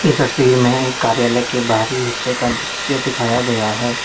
इस तस्वीर में कार्यालय के बाहरी हिस्से का दृश्य दिखाया गया है।